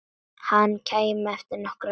Hann kæmi eftir nokkra daga.